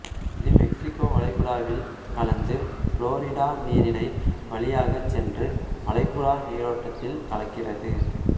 இது மெக்சிகோ வளைகுடாவில் கலந்து புளோரிடா நீரினை வழியாகச் சென்று வளைகுடா நீரோட்டத்தில் கலக்கிறது